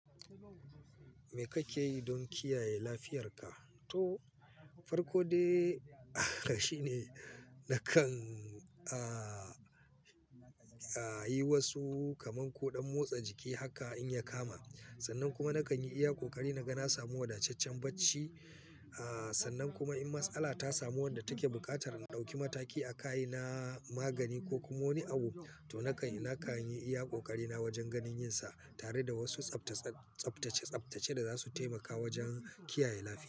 Me kake yi don kiyaye lafiyarka? To, farko dai shine nakan, a, a yi wasu kaman koɗan motsa jiki haka in ya kama. Sannan kuma nakan yi iya ƙoƙari naga na samu wadaceccen bacci. A, sannan kuma in matsala ta samu wadda take buƙatar in ɗauki mataki a kaina magani ko kuma wani abu, to nakan, nakan yi iya ƙoƙari na wajen ganin yin sa tare da wasu tsaftace- tsaftace- tsaftace da za su taimaka wajen kiyaye lafiya.